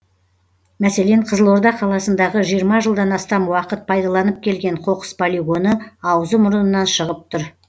мәселен қызылорда қаласындағы жиырма жылдан астам уақыт пайдаланып келген қоқыс полигоны аузы мұрнынан шығып тұр